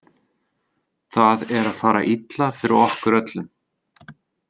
Það er að fara illa fyrir okkur öllum.